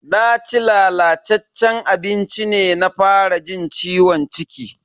Naci lalataccen abincin ne na fara jin ciwon ciki.